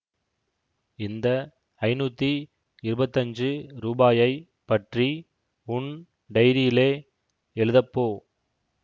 இந்த ஐநூத்தி இருபத்தஞ்சு ரூபாயைப் பற்றி உன் டைரியிலே எழுதப்போ